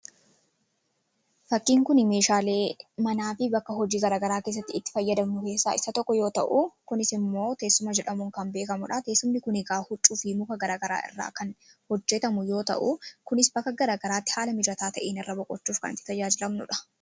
Fakkiin kun meeshaalee manaa fi bakka hojii garaagaraa keessatti fayyadamnu keessaa isa tokko yoo ta'u, kunis immoo teessuma jedhamuun kan beekamuu dha Teessumni kun egaa huccuu fi muka garaagaraa irraa kan hojjetamu yoo ta'u, kunis bakka garaagaraatti haala mijataa ta'een irra boqochuuf kan itti tajaajilamnuudha.